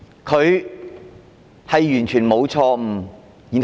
他們是否完全沒有錯誤？